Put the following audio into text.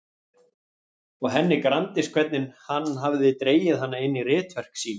Og henni gramdist hvernig hann hafði dregið hana inn í ritverk sín.